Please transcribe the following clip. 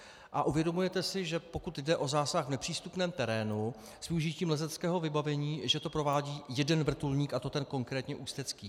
A uvědomujete si, že pokud jde o zásah v nepřístupném terénu s využitím lezeckého vybavení, že to provádí jeden vrtulník, a to ten konkrétní ústecký?